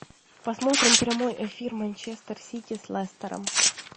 посмотрим прямой эфир манчестер сити с лестером